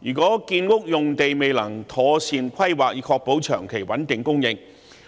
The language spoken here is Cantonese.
如果建屋用地未能妥善規劃以確保長期穩定供應，